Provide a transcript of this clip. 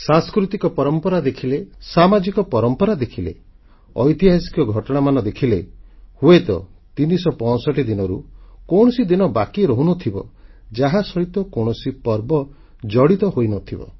ସାଂସ୍କୃତିକ ପରମ୍ପରା ଦେଖିଲେ ସାମାଜିକ ପରମ୍ପରା ଦେଖିଲେ ଐତିହାସିକ ଘଟଣାମାନ ଦେଖିଲେ ହୁଏତ 365 ଦିନରୁ କୌଣସି ଦିନ ବାକି ରହୁନଥିବ ଯାହା ସହିତ କୌଣସି ପର୍ବ ଜଡ଼ିତ ହୋଇନଥିବ